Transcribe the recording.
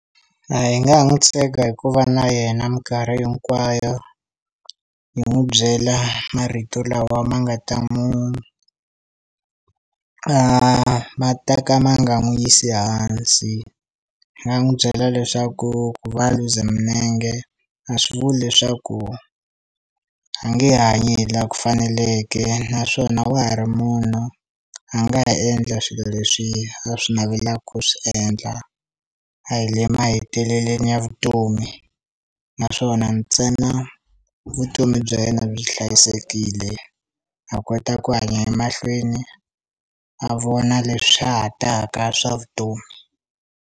A hi nga ha n'wu tshega hi ku va na yena mikarhi hinkwayo hi n'wu byela marito lawa ma nga ta mu ma ta ka ma nga n'wu yisi hansi hi nga n'wu byela leswaku vuvabyi bya minenge a swi vuli leswaku a nge hanyi hi laha ku faneleke naswona wa ha ri munhu a nga ha endla swilo leswi a swi navelaku ku swi endla a hi le maheteleleni ya vutomi naswona ntsena vutomi bya yena byi hlayisekile a kota ku hanya emahlweni a vona leswi swa ha taka swa vutomi.